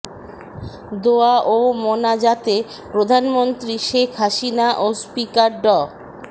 দোয়া ও মোনাজাতে প্রধানমন্ত্রী শেখ হাসিনা ও স্পিকার ড